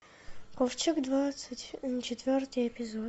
ковчег двадцать четвертый эпизод